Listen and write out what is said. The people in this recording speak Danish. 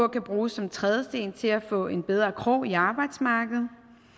kan bruges som en trædesten til at få en bedre krog i arbejdsmarkedet